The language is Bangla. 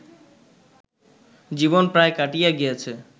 জীবন প্রায় কাটিয়া গিয়াছে